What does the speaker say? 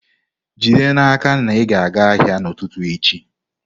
Jide n'aka na ị ga-aga ahịa n'ụtụtụ echi!